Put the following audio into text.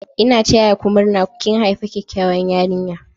N'na taya ku murna!! Kin haifi kyakkyawan yarinya.